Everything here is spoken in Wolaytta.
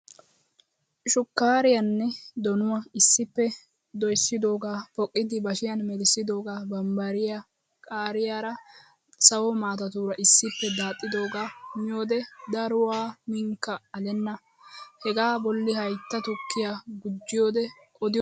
Shukkaariyaanne donuwa issippe doyssidoogaa poqqidi bashiyan melisidoogaa bambbariya qaariyaara sawo maatatuura issippe daaxxidoogaa miyoodee daruwaa miinikka alenna. Hegaa bolli haytta tukkiyaa gujjiyoodee odiyoosan deenna!